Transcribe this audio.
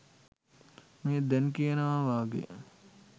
මේ දැන් කියනව වගේ